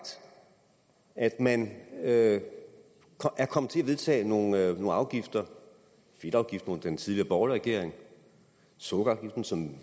at man er kommet til at vedtage nogle afgifter fedtafgiften under den tidligere borgerlige regering sukkerafgiften som